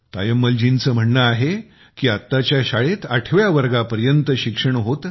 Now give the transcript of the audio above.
तायम्मलजींचे म्हणणे आहे की आत्ताच्या शाळेत आठव्या वर्गापर्यंत शिक्षण होते